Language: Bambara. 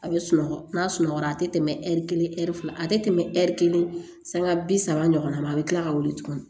A bɛ sunɔgɔ n'a sunɔgɔra a tɛ tɛmɛ ɛri kelen ɛri fila a tɛ tɛmɛ ɛri kelen san bi saba ɲɔgɔnna ma a bɛ kila ka wuli tuguni